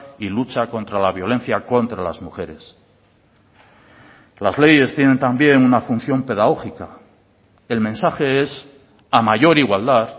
y lucha contra la violencia contra las mujeres las leyes tienen también una función pedagógica el mensaje es a mayor igualdad